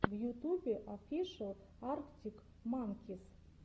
в ютубе офишел арктик манкис